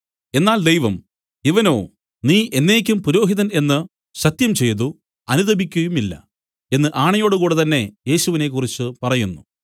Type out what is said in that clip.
എന്നാൽ ദൈവം ഇവനോ നീ എന്നേക്കും പുരോഹിതൻ എന്നു സത്യംചെയ്തു അനുതപിക്കുകയുമില്ല എന്ന് ആണയോടുകൂടെ തന്നെ യേശുവിനെക്കുറിച്ച് പറയുന്നു